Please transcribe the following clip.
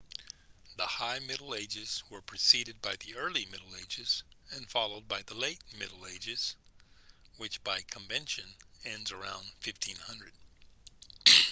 the high middle ages were preceded by the early middle ages and followed by the late middle ages which by convention ends around 1500